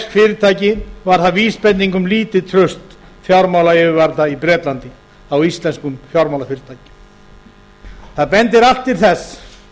fyrirtæki var það vísbending um lítið bárust fjármálayfirvalda í bretlandi á íslenskum fjármálafyrirtækjum það bendir allt til þess